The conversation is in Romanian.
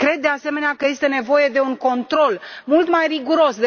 Cred, de asemenea, că este nevoie de un control mult mai riguros!